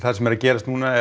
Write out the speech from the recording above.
sem er að gerast núna er